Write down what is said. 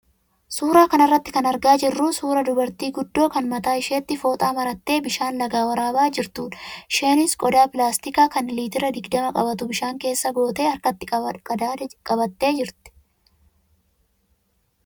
Suuraa kanarraa kan argaa jirru suuraa dubartii guddoo kan mataa isheetti fooxaa marattee bishaan lagaa waraabaa jirtudha. Isheenis qodaa pilaastikaa kan liitira digdama qabatu bishaan keessa gootee harkatti qadaada qabattee jirti.